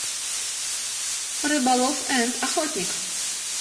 рыболов энд охотник